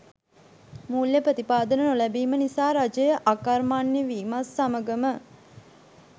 මූල්‍ය ප්‍රතිපාදන නොලැබීම නිසා රජය අකර්මණ්‍ය වීමත් සමගම